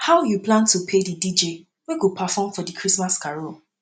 how you plan to pay the dj wey go perform for di christmas carol